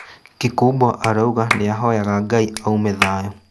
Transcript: Kikubwa arauga nĩahoyaga Ngai aume thayũ